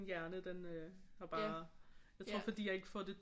Hjerne den øh har bare jeg tror fordi jeg ikke får det